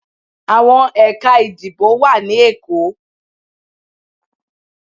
Awọn Ekà ìdíbò wa ni Èko